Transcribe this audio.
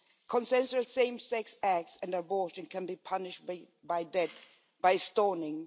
Consensual same sex acts and abortion can be punished by death, by stoning.